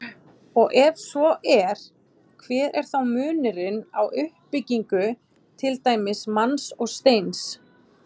Og ef svo er, hver er þá munurinn á uppbyggingu til dæmis manns og steins?